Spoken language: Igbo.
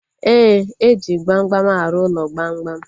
Éè, eji gbamgbam arụ ụlọ gbamgbam